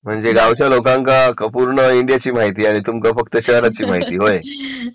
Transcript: म्हणजे गावच्या लोकांचा पूर्ण माहिती आणि तो फक्त शहराची माहिती व्हय